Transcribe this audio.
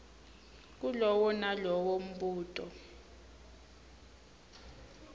kulowo nalowo mbuto